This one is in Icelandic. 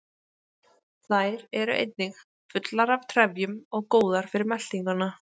Þær eru einnig fullar af trefjum og góðar fyrir meltinguna.